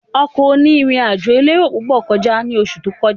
Ọkọ̀ oní ìrìn àjò elérò púpọ̀ kọjá ní oṣù tó kọjá